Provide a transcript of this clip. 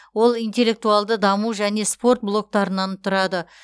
ол интеллектуалды даму және спорт блоктарынан тұрады